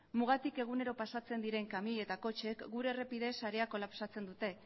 mugatik egunero pasatzen diren kamioi eta kotxeek gure errepide sarea kolapsatzen dute